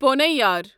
پونیار